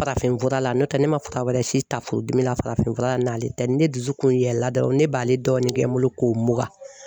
Farafinfura la n'o tɛ ne ma fura wɛrɛ si ta furudimi la farafinfura la n'ale tɛ, ni ne dusu kun yɛlɛla dɔrɔn ne b'ale dɔrɔn ne kɛ n bolo k'o mugan.